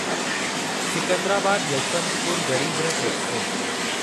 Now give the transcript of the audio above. Secunderabad Yeshwantpur Garib Rath express